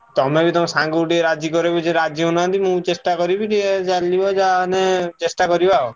ତମେ ବି ତମ ସାଙ୍ଗୁକୁ ଟିକେ ରାଜି କରେଇବ ଯିଏ ରାଜି ହଉନାହାନ୍ତି। ମୁଁ ଚେଷ୍ଟା କରିବି ଟିକେ ଚାଲିବ ଯାହା ମାନେ ଚେଷ୍ଟା କରିବା ଆଉ।